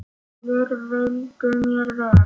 Allir vildu mér vel.